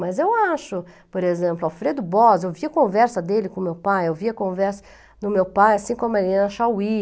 Mas eu acho, por exemplo, Alfredo Bós, eu via conversa dele com meu pai, eu via conversa do meu pai, assim como a Marilena Chaui.